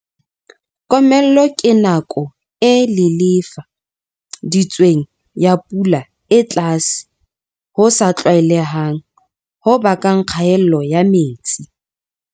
Komello ke nako e lelefa ditsweng ya pula e tlase ho sa tlwaelehang ho bakang kgaello ya metsi.